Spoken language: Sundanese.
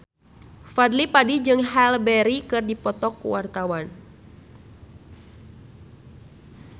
Fadly Padi jeung Halle Berry keur dipoto ku wartawan